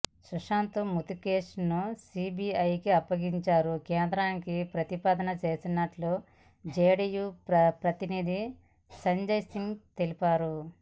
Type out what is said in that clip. సుశాంత్ మృతి కేసును సీబీఐకి అప్పగించాలని కేంద్రానికి ప్రతిపాదన చేసినట్లు జేడీయూ ప్రతినిధి సంజయ్ సింగ్ తెలిపారు